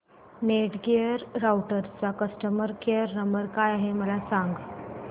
Netgear राउटरचा customer care number काय आहे मला सांग